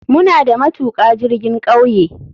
Muna da matuka jirgin kauye.